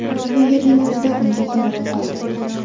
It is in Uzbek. Shu yerning o‘zida unga qo‘ng‘iroq qildi.